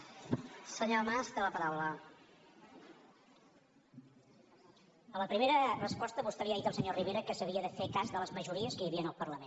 a la primera resposta vostè li ha dit al senyor rivera que s’havia de fer cas de les majories que hi havia en el parlament